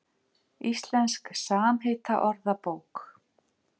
Íslensk samheitaorðabók.